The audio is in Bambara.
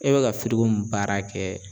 E bɛ ka firiko mun baara kɛ.